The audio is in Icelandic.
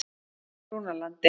Brúnalandi